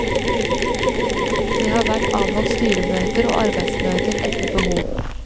Det har vært avholdt styremøter og arbeidsmøter etter behov.